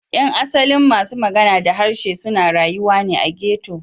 Yan asalin masu magana da harshe suna rayuwa ne a ghetto.